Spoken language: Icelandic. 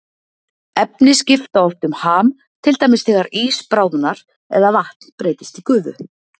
Efni skipta oft um ham, til dæmis þegar ís bráðnar eða vatn breytist í gufu.